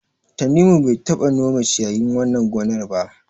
Tanimu bai taɓa nome ciyayin wannan gonar ba.